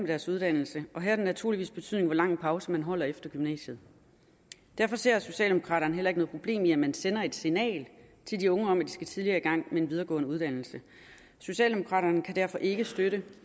deres uddannelse og her har det naturligvis betydning hvor lang pause man holder efter gymnasiet derfor ser socialdemokraterne heller ikke noget problem i at man sender et signal til de unge om at de skal tidligere i gang med en videregående uddannelse socialdemokraterne kan derfor ikke støtte